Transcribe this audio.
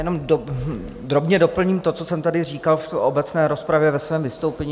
Jenom drobně doplním to, co jsem tady říkal v obecné rozpravě ve svém vystoupení.